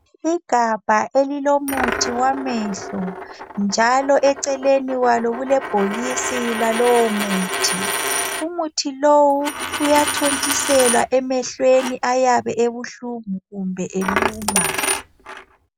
Igabha elilomuthi wamehlo, njalo eceleni kwalo kulebhokisi lalomuthi. Umuthi lo uyathontiselwa emehlweni ayabe ubuhlungu kumbe eluma.